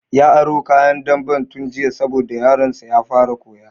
Ya aro kayan damben tun jiya saboda yaron sa ya fara koya